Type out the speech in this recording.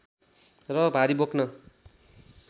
र भारी बोक्न